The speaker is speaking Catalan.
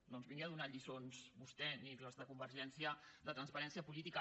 no ens vingui a donar lliçons vostè ni els de convergència de transparència política